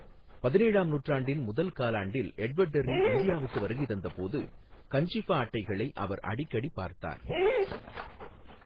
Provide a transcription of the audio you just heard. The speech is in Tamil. பதினேழாம் நூற்றாண்டின் முதல் காலாண்டில் எட்வர்ட் டெர்ரி இந்தியாவுக்கு வருகை தந்தபோது, கஞ்சிஃபா அட்டைகளை அவர் அடிக்கடி பார்த்தார்.